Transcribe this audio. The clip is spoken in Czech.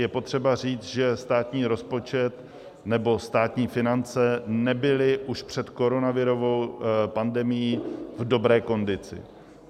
Je potřeba říct, že státní rozpočet, nebo státní finance nebyly už před koronavirovou pandemií v dobré kondici.